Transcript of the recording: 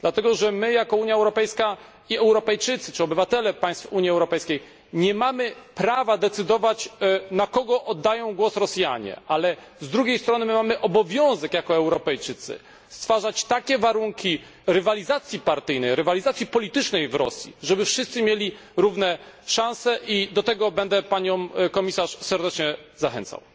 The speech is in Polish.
Dlatego że my, jako Unia Europejska i Europejczycy czy obywatele państw Unii Europejskiej, nie mamy prawa decydować, na kogo oddają głos Rosjanie, ale z drugiej strony my, jako Europejczycy, mamy obowiązek stwarzać takie warunki rywalizacji partyjnej, rywalizacji politycznej w Rosji, żeby wszyscy mieli równe szanse, i do tego będę Panią Komisarz serdecznie zachęcał.